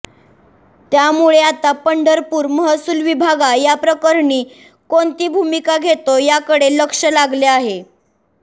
त्यामुळे आता पंढरपूर महसुल विभागा याप्रकरणी कोणती भूमिका घेतो याकडे लक्ष लागले आहे